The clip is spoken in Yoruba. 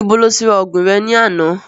Ibo ni o ti ra ògùn re ní àná?